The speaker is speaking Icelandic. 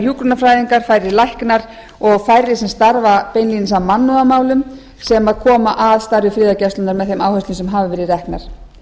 hjúkrunarfræðingar færri læknar og færri sem starfa beinlínis að mannúðarmálum sem koma að starfi friðargæslunnar með þeim áherslum sem hafa verið reknar